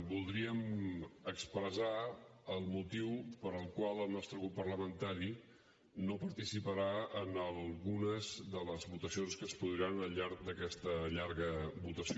voldríem expressar el motiu pel qual el nostre grup parlamentari no participarà en algunes de les votacions que es produiran al llarg d’aquesta llarga votació